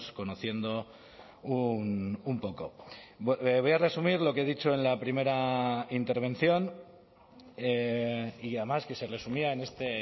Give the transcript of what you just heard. conociendo un poco voy a resumir lo que he dicho en la primera intervención y además que se resumía en este